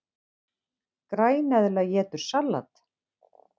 Græneðla étur salat!